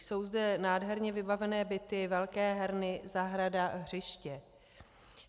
Jsou zde nádherně vybavené byty, velké herny, zahrada, hřiště.